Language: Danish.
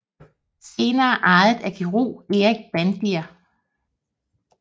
Senere ejet af kirurg Erik Bandier